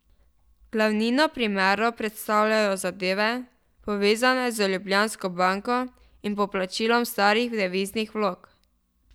Glavnino primerov predstavljajo zadeve, povezane z Ljubljansko banko in poplačilom starih deviznih vlog.